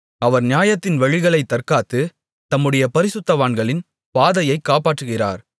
அவர் நியாயத்தின் வழிகளைத் தற்காத்து தம்முடைய பரிசுத்தவான்களின் பாதையைக் காப்பாற்றுகிறார்